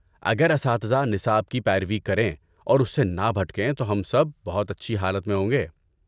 اگر اساتذہ نصاب کی پیروی کریں اور اس سے نہ بھٹکیں تو ہم سب بہت اچھی حالت میں ہوں گے۔